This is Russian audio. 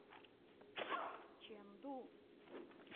чэнду